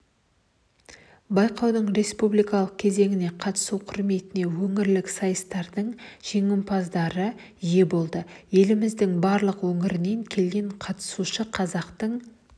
байқаудың республикалық кезеңіне қатысу құрметіне өңірлік сайыстардың жеңімпаздары ие болды еліміздің барлық өңірінен келген қатысушы қазақтың